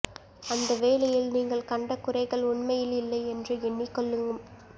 அந்தவேலையில் நீங்கள் கண்ட குறைகள் உண்மையில் இல்லை என்று எண்ணிக்கொள்ளும்